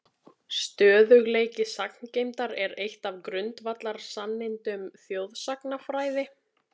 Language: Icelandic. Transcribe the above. Stöðugleiki sagngeymdar er eitt af grundvallarsannindum þjóðsagnafræði.